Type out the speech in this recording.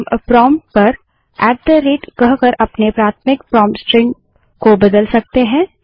हम प्रोंप्ट पर at the rate ltgt कहकर अपने प्राथमिक प्रोंप्ट स्ट्रिंग को बदल सकते हैं